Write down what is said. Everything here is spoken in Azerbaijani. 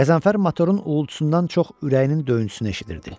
Qəzənfər motorun uğultusundan çox ürəyinin döyüntüsünü eşidirdi.